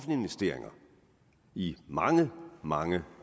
investeringer i mange mange